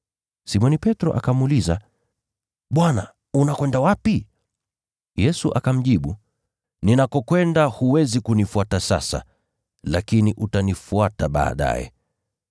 Simoni Petro akamuuliza, “Bwana, unakwenda wapi?” Yesu akamjibu, “Ninakokwenda huwezi kunifuata sasa, lakini utanifuata baadaye.”